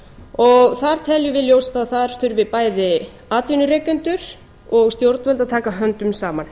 og þar teljum við ljóst að þar þurfi bæði atvinnurekendur og stjórnvöld að taka höndum saman